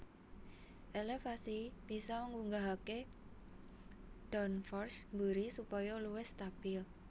Elevasi bisa ngunggahake downforce mburi supaya luwih stabil